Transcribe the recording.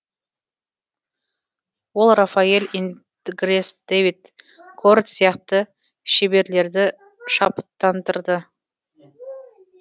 ол рафаэль ингрес дэвид корот сияқты шеберлерді шабыттандырды